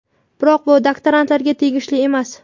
Biroq bu doktorantlarga tegishli emas.